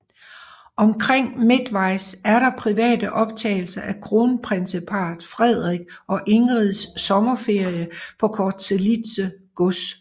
Omkring midtvejs er der private optagelser af kronprinsparret Frederik og Ingrids sommerferie på Corselitze Gods